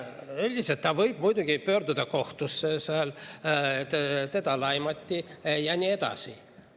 Üldiselt ta võib muidugi pöörduda kohtusse, et teda laimati ja nii edasi.